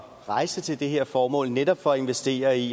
rejse til det her formål netop for at investere i